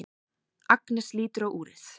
Agnes lítur á úrið.